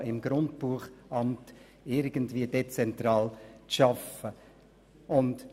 Auch im Grundbuchamt sollte es möglich sein, dezentral zu arbeiten.